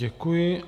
Děkuji.